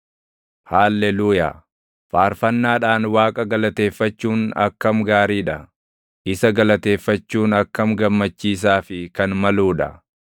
Haalleluuyaa. Faarfannaadhaan Waaqa galateeffachuun akkam gaarii dha; isa galateeffachuun akkam gammachiisaa fi kan maluu dha!